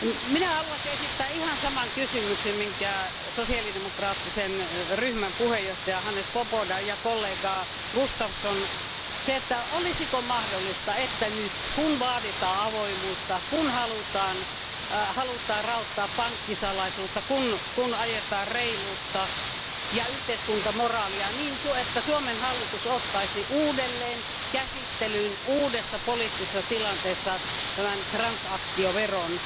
Minä haluaisin esittää ihan saman kysymyksen, minkä sosiaalidemokraattisen ryhmän puheenjohtaja Swoboda ja kollega Gustafsson olisiko mahdollista, että nyt kun vaaditaan avoimuutta, kun halutaan raottaa pankkisalaisuutta, kun ajetaan reiluutta ja yhteiskuntamoraalia, niin Suomen hallitus ottaisi uudelleen käsittelyyn uudessa poliittisessa tilanteessa tämän transaktioveron?